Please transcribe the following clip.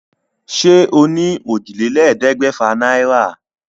Ṣé o ní òjìlélẹ́ẹ̀ẹ́dẹ́gbẹ́fà náírà?